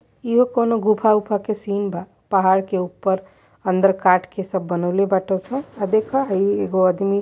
ई हो कोनो गुफा ऊफा के सीन बा पहाड़ के ऊपर अंदर काट के सब बनवले बाट सन आ देखा ह ई एगो आदमी --